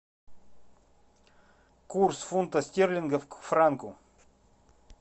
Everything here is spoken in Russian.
курс фунта стерлинга к франку